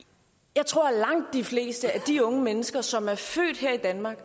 jeg tror at langt de fleste af de unge mennesker som er født her i danmark